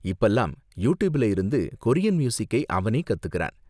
இப்பல்லாம் யூடியூபில இருந்து கொரியன் மியூசிக்கை அவனே கத்துக்கிறான்.